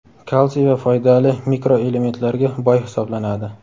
kalsiy va foydali mikroelementlarga boy hisoblanadi.